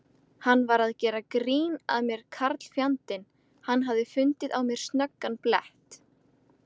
Hann var að gera grín að mér karlfjandinn, hann hafði fundið á mér snöggan blett.